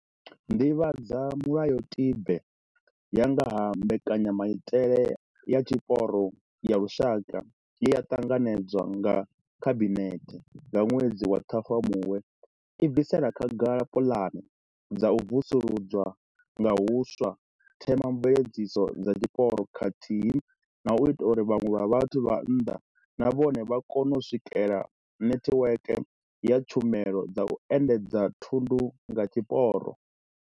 Nḓivhadzamulayotibe ya nga ha Mbekanyamaitele ya Tshiporo ya Lushaka, ye ya ṱanganedzwa nga Khabinethe nga ṅwedzi wa Ṱhafamuhwe, i bvisela khagala puḽane dza u vusuludza nga huswa themamveledziso dza tshiporo khathihi na u ita uri vhaṅwe vhathu vha nnḓa na vhone vha kone u swikela netiweke ya tshumelo dza u endedza thundu nga tshiporo.